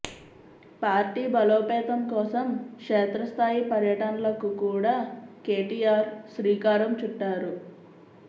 party బలోపేతం కోసం క్షేత్రస్థాయి పర్యటనలకు కూడా కేటీఆర్ శ్రీకారం చుట్టారు